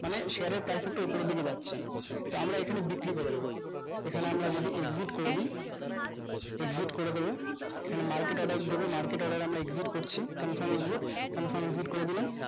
মানে share এর কাজ তা ওপরের দিকে যাচ্ছে তো আমরা এইখানে বিক্রি করে দেব এখানে আমরা যদি exit করে দি exit করে দেব এখানে confirm exitconfir করে দিলাম